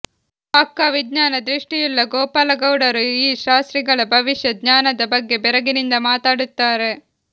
ಪಕ್ಕಾ ವಿಜ್ಞಾನ ದೃಷ್ಟಿಯುಳ್ಳ ಗೋಪಾಲಗೌಡರೂ ಈ ಶಾಸ್ತ್ರಿಗಳ ಭವಿಷ್ಯ ಜ್ಞಾನದ ಬಗ್ಗೆ ಬೆರಗಿನಿಂದ ಮಾತಾಡುತ್ತಾರೆ